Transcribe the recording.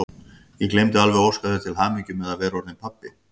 Ég gleymdi alveg að óska þér til hamingju með að vera orðinn pabbi!